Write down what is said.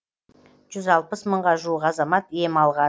жүз алпыс мыңға жуық азамат ем алған